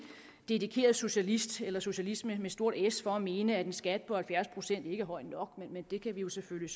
dedikeret socialist eller socialisme med stort s for at mene at en skat på halvfjerds procent ikke er høj nok men det kan vi selvfølgelig